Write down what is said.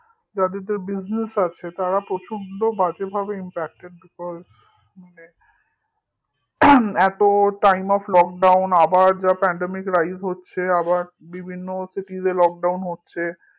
যাদের business আছে তারা প্রচন্ড বাজেভাবে impacted হয়েছে হম এত timeoflockdown আবার যা pandemicrise হচ্ছে আবার বিভিন্ন cities এ lockdown হচ্ছে